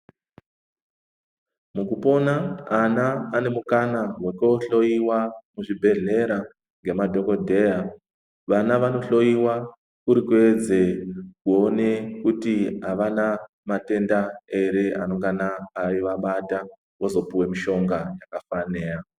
Mukupona ana ane mukana wekohloyiwa muzvibhedhleya ngemadhokodheya, vana vanohloyiwa kuri kuedze kuone kuti avana matenda ere anongana eivabata vozopuwe mishonga yakafanira.